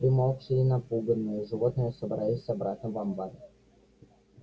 примолкшие и напуганные животные собрались обратно в амбаре